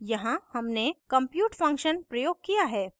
यहाँ हमने compute function प्रयोग किया है